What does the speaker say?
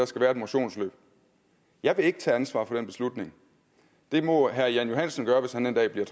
skal være et motionsløb jeg vil ikke tage ansvaret for den beslutning det må herre jan johansen gøre hvis han en dag bliver